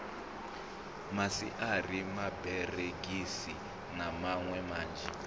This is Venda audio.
maswiri maberegisi na miṋwe minzhi